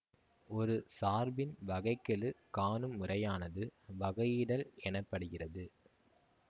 ஒரு சார்பின் வகை கெழு காணும் முறையானது வகையிடல் எனப்படுகிறது